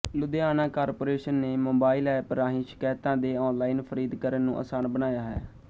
Ludhiana corporation ਨੇ mobile app ਰਾਹੀਂ ਸ਼ਿਕਾਇਤਾਂ ਦੇ ਔਨਲਾਈਨ ਫਰਦੀਕਰਨ ਨੂੰ ਅਸਾਨ ਬਣਾਇਆ ਹੈ